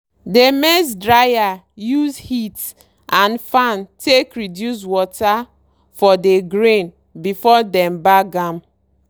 dey maize dryer use heat and fan take reduce water for dey grain before dem bag am.